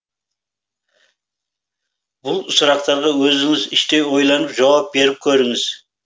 бұл сұрақтарға өзіңіз іштей ойланып жауап беріп көріңіз